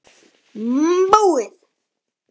Búið